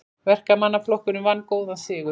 Verkamannaflokkurinn vann góðan sigur